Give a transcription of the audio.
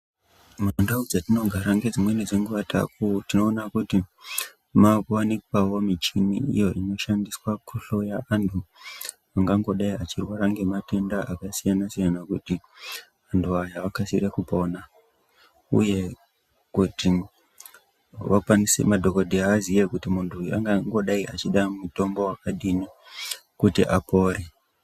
Mundau dzetinogara ngedzimweni dzenguwa tinoona kuti maakuwanikwawo michini iyo inoshandiswa kuhloya antu angangodai achirwara ngematenda akasiyana siyana kuti antu aya akasire kupona, uye kuti madhokodheya aziye kuti muntu uyu angangodai achida mutombo wakadini kuti apore.